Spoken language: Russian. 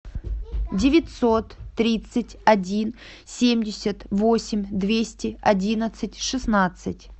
девятьсот тридцать один семьдесят восемь двести одиннадцать шестнадцать